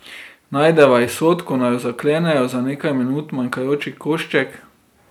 Najdeva izhod, ko naju zaklenejo, za nekaj minut manjkajoči košček.